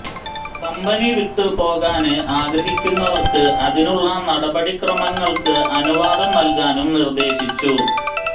company വിട്ടു പോകാന് ആഗ്രഹിക്കുന്നവര്ക്ക് അതിനുള്ള നടപടിക്രമങ്ങള്ക്ക് അനുവാദം നല്കാനും നിര്ദേശിച്ചു